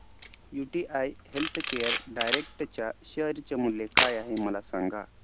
UTI healthcare direct च्या share चे मूल्य काय आहे मला सांगा